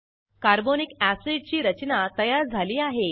carbonic acid ची रचना तयार झाली आहे